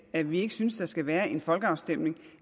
at vi ikke synes der skal være en folkeafstemning